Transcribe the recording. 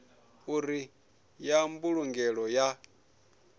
uri ndi ya mbulungelo ya